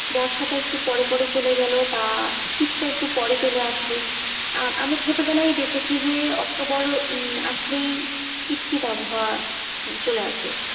বর্ষাটা একটু পরে পরে চলে গেল বা শীতটা একটু পরে চলে আসলো আহ আমরা ছোটবেলায় দেখেছি যে অক্টোবর আসলেই শীত শীত আবহাওয়া চলে আসে।